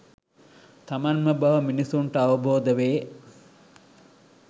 තමන්ම බව මිනිස්සුන්ට අවබෝධ වේ.